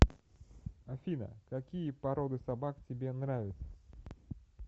афина какие породы собак тебе нравятся